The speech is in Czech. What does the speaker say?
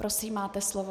Prosím, máte slovo.